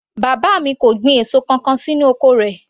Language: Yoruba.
Bàbá mi kò gbin èso kankan sínú oko rẹ̀